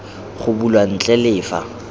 go bulwa ntle le fa